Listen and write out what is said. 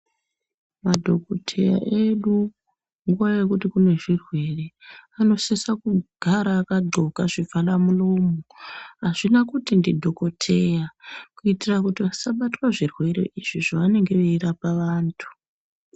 Madhokoteya edu nguva yekuti kune zvirwere, anosisa kugara akaxoka zvivharamuromo. Hazvina kuti ndidhokodheya, kuitira kuti vasabatwa nezvirwere izvo zvevanenge veirapa vantu.